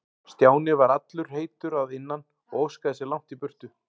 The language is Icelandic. Stjáni var allur heitur að innan og óskaði sér langt í burtu.